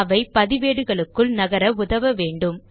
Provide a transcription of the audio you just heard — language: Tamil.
அவை பதிவேடுகளுக்குள் நகர உதவ வேண்டும்